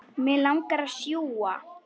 Mig langar að sjúga.